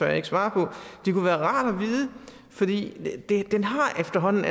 jeg ikke svare på det kunne være rart at vide fordi det efterhånden